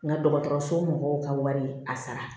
N ka dɔgɔtɔrɔso mɔgɔw ka wari a sara